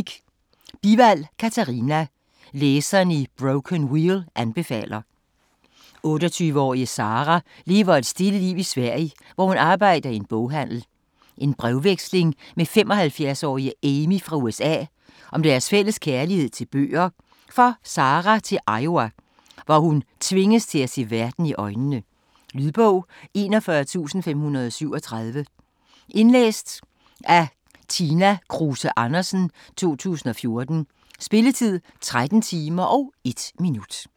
Bivald, Katarina: Læserne i Broken Wheel anbefaler 28-årige Sara lever et stille liv i Sverige, hvor hun arbejder i en boghandel. En brevveksling med 75-årige Amy fra USA om deres fælles kærlighed til bøger får Sara til Iowa, hvor hun tvinges til at se verden i øjnene. Lydbog 41537 Indlæst af Tina Kruse Andersen, 2014. Spilletid: 13 timer, 1 minutter.